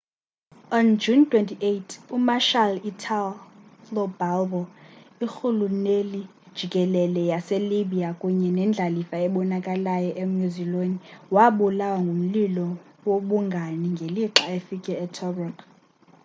on june 28 umarshal italo balbo irhuluneli-jikelele waselibya kunye nendlalifa ebonakalayo emuseolini wabulawa ngumlilo wobungani ngelixa efike tobruk